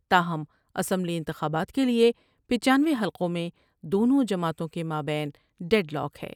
تاہم اسمبلی انتخابات کے لئے پچاسی حلقوں میں دونوں جماعتوں کے مابین ڈیڈ لاک ہے ۔